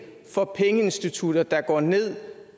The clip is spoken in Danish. for pengeinstitutter der går ned